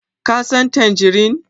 Ka San tangerine?